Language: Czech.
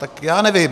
Tak já nevím.